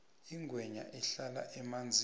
ingwenya ihlala emanzini